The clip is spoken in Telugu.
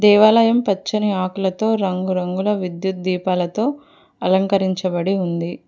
దేవాలయం పచ్చని ఆకులతో రంగురంగుల విద్యుత్ దీపాలతో అలంకరించబడి ఉంది.